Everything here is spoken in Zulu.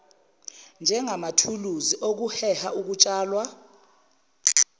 njengamathuluzi okuheha ukutshalwa